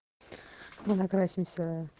виноград снится